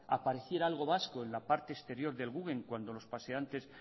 apareciera algo vasco en la parte exterior del guggenheim cuando los paseantes